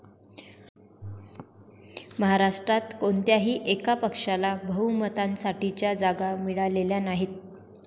महाराष्ट्रात कोणत्याही एका पक्षाला बहुमतासाठीच्या जागा मिळालेल्या नाहीत.